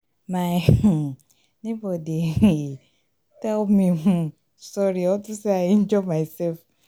my um neighbor dey um tell me um sorry unto say i injure myself